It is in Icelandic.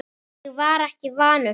Ég var ekki vanur því.